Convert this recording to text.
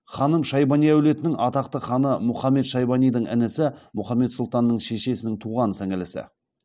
ханым шайбани әулетінің атақты ханы мұхаммед шайбанидің інісі махмұд сұлтанның шешесінің туған сіңілісі